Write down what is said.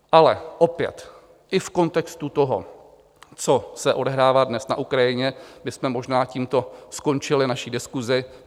Ale opět i v kontextu toho, co se odehrává dnes na Ukrajině, bychom možná tímto skončili naší diskusi.